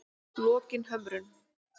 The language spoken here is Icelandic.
Lokinhömrum